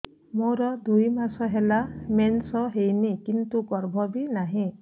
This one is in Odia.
ମୋର ଦୁଇ ମାସ ହେଲା ମେନ୍ସ ହେଇନି କିନ୍ତୁ ଗର୍ଭ ବି ନାହିଁ